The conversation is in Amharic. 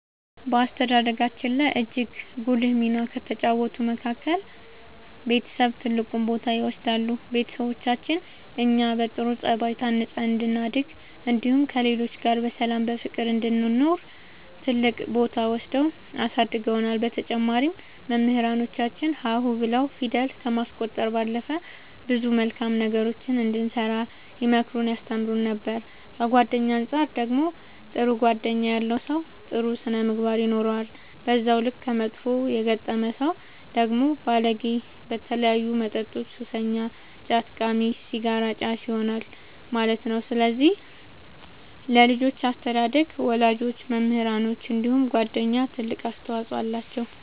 በአስተዳደጋችን ላይ እጅግ ጉልህ ሚና ከተጫወቱት መካከል ቤተሰብ ትልቁን ቦታ ይወስዳሉ ቤተሰቦቻችን እኛ በጥሩ ጸባይ ታንጸን እንድናድግ እንዲሁም ከሌሎች ጋር በሰላም በፍቅር እንድንኖር ትልቅ ቦታ ወስደው አሳድገውናል በተጨማሪም መምህራኖቻችን ሀ ሁ ብለው ፊደል ከማስቆጠር ባለፈ ብዙ መልካም ነገሮችን እንድንሰራ ይመክሩን ያስተምሩን ነበር ከጓደኛ አንፃር ደግሞ ጥሩ ጓደኛ ያለው ሰው ጥሩ ስነ ምግባር ይኖረዋል በዛው ልክ ከመጥፎ የገጠመ ሰው ደግሞ ባለጌ በተለያዩ መጠጦች ሱሰኛ ጫት ቃሚ ሲጋራ አጫሽ ይሆናል ማለት ነው ስለዚህ ለልጆች አስተዳደግ ወላጆች መምህራኖች እንዲሁም ጓደኞች ትልቅ አስተዋፅኦ አላቸው።